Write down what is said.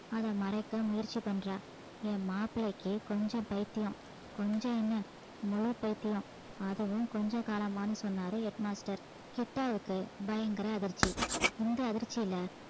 அதை மறைக்க முயற்சி பண்றா என் மாப்பிள்ளைக்கு கொஞ்சம் பைத்தியம் கொஞ்சம் என்ன முழு பைத்தியம் அதுவும் கொஞ்ச காலமான்னு சொன்னாரு head master கிட்டாவுக்கு பயங்கர அதிர்ச்சி இந்த அதிர்ச்சியில